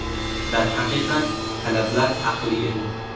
Darhaqiqat, talablar haqli edi.